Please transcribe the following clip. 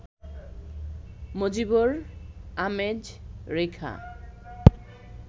মজিবর, আমেজ, রেখা